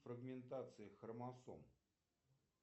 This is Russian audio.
фрагментации хромосом